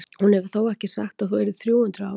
Hún hefur þó ekki sagt að þú yrðir þrjú hundruð ára?